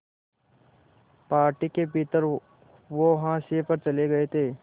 party के भीतर वो हाशिए पर चले गए थे